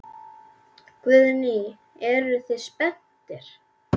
Guðný: Eruð þið spenntir?